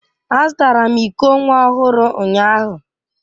Azụtara m iko nwa ọhụrụ ụnyahụ